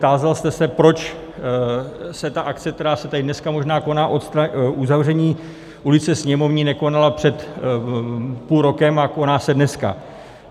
Tázal jste se, proč se ta akce, která se tady dneska možná koná, uzavření ulice Sněmovní, nekonala před půl rokem, a koná se dneska.